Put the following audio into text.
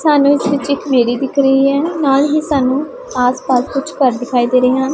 ਸਾਨੂੰ ਇਸ ਵਿੱਚ ਇੱਕ ਮੀਰੀ ਦਿੱਖ ਰਹੀ ਏ ਨਾਲ ਹੀ ਸਾਨੂੰ ਆਸ ਪਾਸ ਕੁਛ ਘਰ ਦਿਖਾਈ ਦੇ ਹਨ।